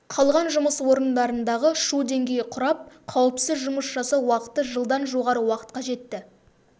қалған жұмыс орындарындағы шу деңгейі құрап қауіпсіз жұмыс жасау уақыты жылдан жоғары уақытқа жетті